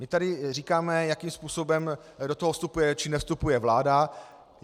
My tady říkáme, jakým způsobem do toho vstupuje či nevstupuje vláda.